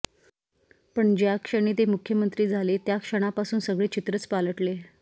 पण ज्याक्षणी ते मुख्यमंत्री झाले त्या क्षणापासून सगळे चित्रच पालटले